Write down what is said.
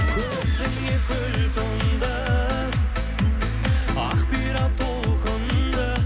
көзіңе көл тұңды ақ бұйра толқынды